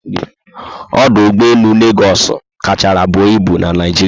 Ọdụ ụgbọelu Legosu kachárá buo ịbu na Naijiria